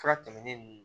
Fura tɛmɛnen